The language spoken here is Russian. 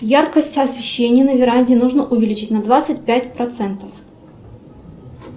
яркость освещения на веранде нужно увеличить на двадцать пять процентов